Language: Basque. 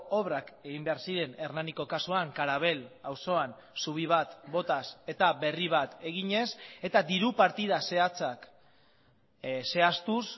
obrak egin behar ziren hernaniko kasuan karabel auzoan zubi bat botaz eta berri bat eginez eta diru partida zehatzak zehaztuz